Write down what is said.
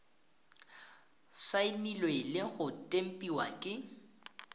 saenilwe le go tempiwa ke